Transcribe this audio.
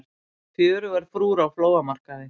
Fjörugar frúr á flóamarkaði